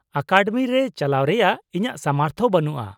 Academy ᱨᱮ ᱪᱟᱞᱟᱣ ᱨᱮᱭᱟᱜ ᱤᱧᱟᱹᱜ ᱥᱟᱢᱚᱨᱛᱷ ᱵᱟᱹᱱᱩᱜᱼᱟ ᱾